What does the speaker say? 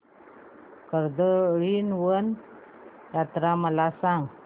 कर्दळीवन यात्रा मला सांग